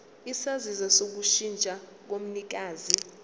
isaziso sokushintsha komnikazi